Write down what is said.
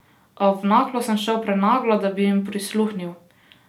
A v Naklo sem šel prenaglo, da bi jim prisluhnil.